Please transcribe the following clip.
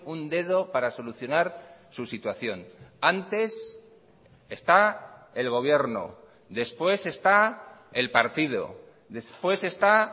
un dedo para solucionar su situación antes está el gobierno después está el partido después está